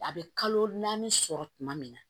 A bɛ kalo naani sɔrɔ tuma min na